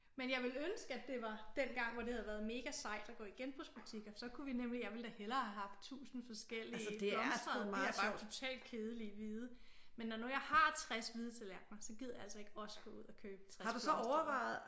Men jeg ville ønske at det var dengang hvor det havde været mega sejt at gå i genbrugsbutikker så kunne vi nemlig jeg ville da hellere have haft tusind forskellige blomstrede det her er bare totalt kedelige hvide men når nu jeg har 60 hvide tallerkener så gider jeg altså ikke også gå ud og købe 60 blomstrede